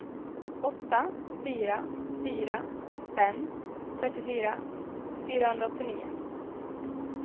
åtta fyra fyra fem trettiofyra fyrahundraåttionio